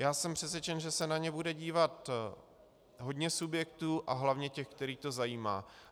Já jsem přesvědčen, že se na ně bude dívat hodně subjektů a hlavně těch, které to zajímá.